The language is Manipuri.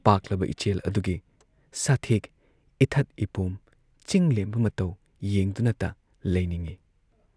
ꯄꯥꯛꯂꯕ ꯏꯆꯦꯜ ꯑꯗꯨꯒꯤ ꯁꯥꯊꯦꯛ, ꯏꯊꯛ ꯏꯄꯣꯝ, ꯆꯤꯡꯂꯦꯝꯕ ꯃꯇꯧ ꯌꯦꯡꯗꯨꯅꯇ ꯂꯩꯅꯤꯡꯏ ꯫